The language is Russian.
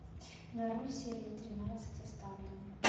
нарой серия тринадцать оставленные